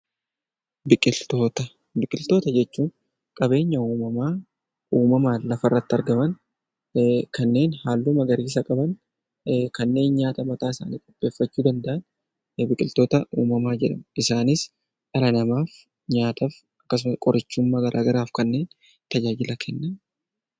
Biqiltoota jechuun qabeenya uumamaa uumammaan lafarratti argaman kanneen halluu magariisa qaban kanneen nyaata mataasaanii qopheeffachuu danda'an biqiltoota uumamaa jedhamu. Isaanis dhala namaaf nyaataaf akkasumas qorichummaa garaagaraaf kan tajaajila kennanidha.